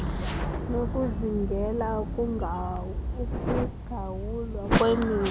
nokuzingela ukugawulwa kwemithi